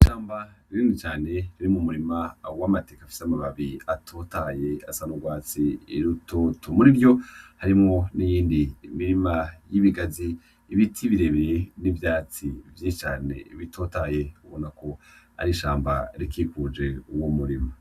Ishamba rinini cane riri mu murima w'amateke afise amababi atotaye asa n'urwatsi rutoto, muri vyo harimwo n'iyindi mirima y'ibigazi, ibiti birebire n'ivyatsi vyinshi cane bitotaye ubona ko ari ishamba rikikuje uwo murima.